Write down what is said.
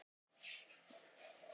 úthérað ásamt borgarfirði eystra